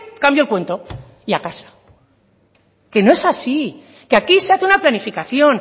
cambió el cuento y a casa que no es así que aquí se hace una planificación